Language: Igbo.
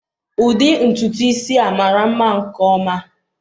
Ụdị ntutu isi a mara nma nke ọma.